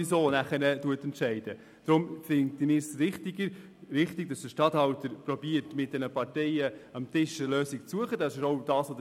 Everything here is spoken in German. Wir halten es für wichtiger, dass der Regierungsstatthalter versucht, mit den Parteien am Tisch eine Lösung zu finden.